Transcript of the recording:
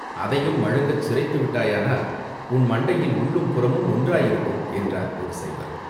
அதையும் மழுங்கச் சிரைத்து விட்டாயானால், உன் மண்டையில் உள்ளும், புறமும் ஒன்றாயிருக்கும்!" என்றார் ஒரு சைவர்.